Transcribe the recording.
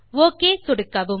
okay சொடுக்கவும்